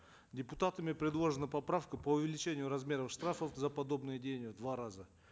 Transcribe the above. депутатами предложена поправка по увеличению размеров штрафов за подобные деяния в два раза